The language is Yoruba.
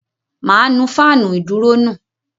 Mà á nu fáànù ìdúró nù.